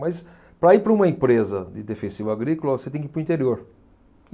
Mas para ir para uma empresa de defensivo agrícola, você tem que ir para o interior.